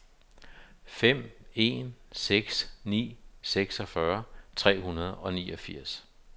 fem en seks ni seksogfyrre tre hundrede og niogfirs